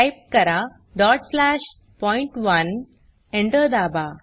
type करा dot slash पॉइंट1 Enter दाबा